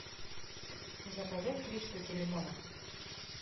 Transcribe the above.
заказать три штуки лимона